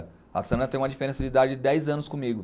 A Sandra tem uma diferença de idade de dez anos comigo.